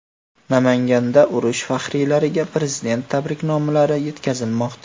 Namanganda urush faxriylariga Prezident tabriknomalari yetkazilmoqda.